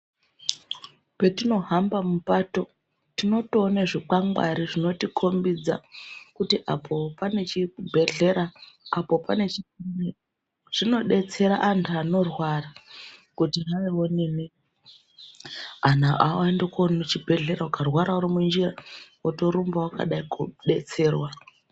Petinohamba mupato tinotoona zvikwangwari zvinotikombidza kuti apo pane chibhehlera apo pane chiini. Zvinotidetsera antu anorwara kuti hayi onini antu ayende koona kuchibhehlera ukarwara uri minjira wotorumba wakadayi kodetserwa.